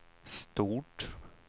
stort